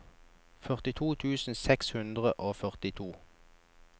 førtito tusen seks hundre og førtito